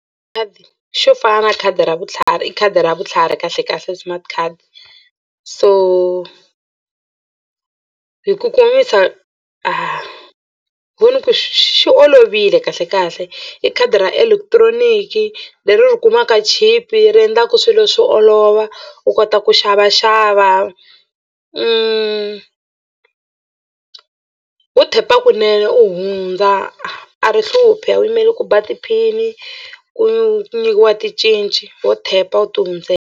Khadi xo fana na khadi ra vutlhari i khadi ra vutlhari kahlekahle smart card so hi ku komisa a ho ni ku xi olovile kahlekahle i khadi ra electronic leri ri kumaka chipe i ri endlaka swilo swi olova u kota ku xavaxava ho tap-a kunene u hundza a ri hluphi a wu yimeli ku ba ti-pin ku nyikiwa ticinci ho tap-a u tihundzela.